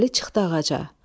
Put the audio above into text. Əli çıxdı ağaca.